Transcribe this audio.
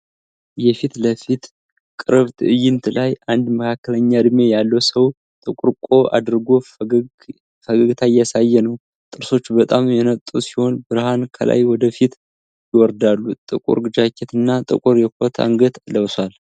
የፊትለፊት ቅርብ ትዕይንት ላይ አንድ መካከለኛ እድሜ ያለው ሰው ጥቁር ቆብ አድርጎ ፈገግታ እያሳየ ነው። ጥርሶቹ በጣም የነጡ ሲሆን ብርሃን ከላይ ወደ ፊቱ ይወርዳል። ጥቁር ጃኬት እና ጥቁር የኮት አንገት ለብሷል።